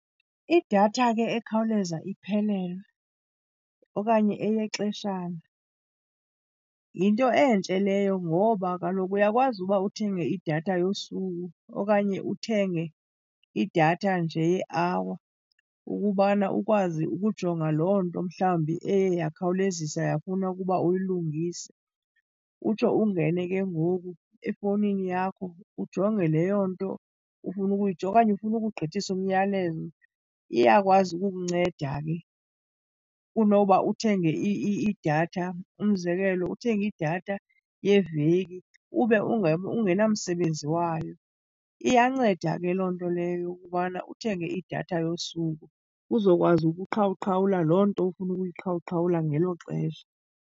Idatha ke ekhawuleza iphelelwe okanye eyexeshana yinto entle leyo ngoba kaloku uyakwazi uba uthenge idatha yosuku okanye uthenge idatha nje ye-hour ukubana ukwazi ukujonga loo nto mhlawumbi eye yakhawulezisa yafuna ukuba uyilungise. Utsho ungene ke ngoku efowunini yakho ujonge leyo nto ufuna ukuyijonga. Okanye ufuna ukugqithisa umyalezo, iyakwazi ukukunceda ke kunoba uthenge idatha. Umzekelo, uthenge idatha yeveki ube ungenamsebenzi wayo. Iyanceda ke loo nto leyo yokubana uthenge idatha yosuku uzokwazi ukuqhawuqhawula loo nto ufuna ukuyiqhawuqhawula ngelo xesha.